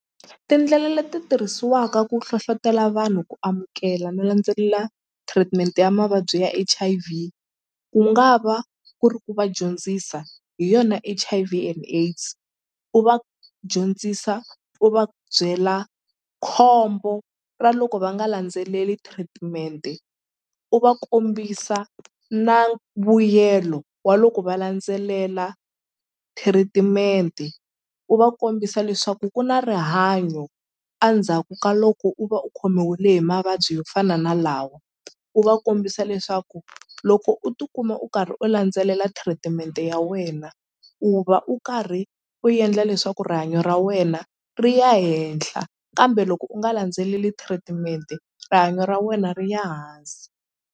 Tindlela leti tirhisiwaka ku hlohlotela vanhu ku amukela no landzelela treatment ya mavabyi ya H_I_V ku nga va ku ri ku va dyondzisa hi yona H_I_V and AIDS u va dyondzisa u va byela khombo ra loko va nga landzeleli treatment-e u va kombisa na vuyelo wa loko va landzelela treatment u va kombisa leswaku ku na rihanyo a ndzhaku ka loko u va u khomiwile hi mavabyi yo fana na lawa u va kombisa leswaku loko u tikuma u karhi u landzelela treatment ya wena u va u karhi u endla leswaku rihanyo ra wena ri ya henhla kambe loko u nga landzeleli treatment-e rihanyo ra wena ri ya hansi.